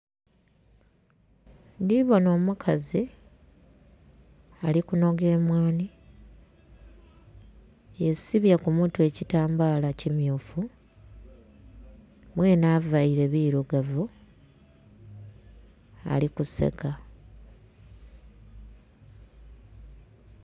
Ndhibonha omukazi, ali kunhoga emwanhi, yesibye ku mutwe ekitambala kimyufu mwene availe birugavu, ali kuseka.